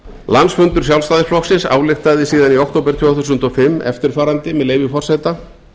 landsfundur sjálfstæðisflokksins ályktaði síðan í október tvö þúsund og fimm eftirfarandi með leyfi forseta